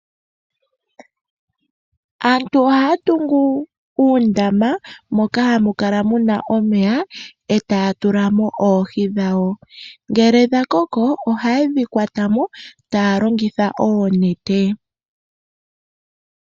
Aantu ohaya tungu uundama moka hamu kala muna omeya etaya tula mo oohi dhawo. Ngele dhakoko ohaye dhikwata mo taya longitha oonete.